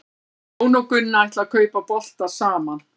Jón og Gunna ætla að kaupa bolta saman.